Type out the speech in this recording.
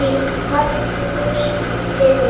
Farðu í Guðs friði.